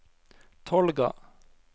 Tolga